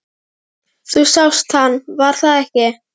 Þú sást hann, var það ekki?